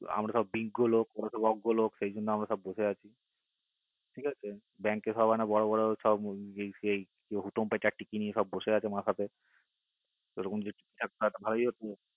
আমরা সব বিজ্ঞ লোক আর ওরা সব অজ্ঞ লোক সিই জন্য আমরা সব বসে আছি ঠিক আছে আর bank কে সব ওরা বড়ো বড়ো লোক সব হুতুম ফেচার টিক্কি নিয়ে বসে আছে মাথাতে ওরকম যদি মাথাতে ওরকম যদি